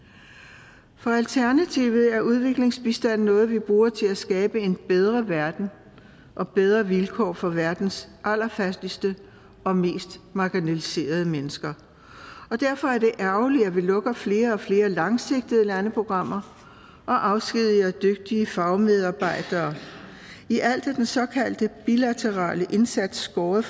for alternativet er udviklingsbistand noget vi bruger til at skabe en bedre verden og bedre vilkår for verdens allerfattigste og mest marginaliserede mennesker derfor er det ærgerligt at vi lukker flere og flere langsigtede landeprogrammer og afskediger dygtige fagmedarbejdere i alt er den såkaldt bilaterale indsats skåret